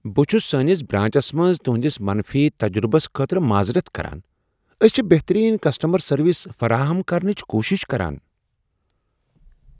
بہٕ چھس سٲنس برانچس منٛز تہنٛدس منفی تجربس خٲطرٕ معذرت کران۔ أسۍ چھ بہترین کسٹمر سروس فراہم کرنٕچ کوٗشش کران،